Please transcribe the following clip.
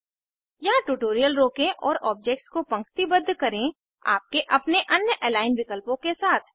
यहाँ ट्यूटोरियल रोकें और ओब्जेक्स को पंक्तिबद्ध करें आपके अपने अन्य अलिग्न विकल्पों के साथ